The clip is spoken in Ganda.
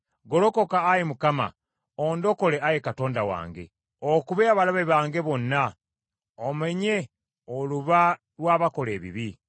Golokoka, Ayi Mukama , ondokole Ayi Katonda wange okube abalabe bange bonna omenye oluba lw’abakola ebibi.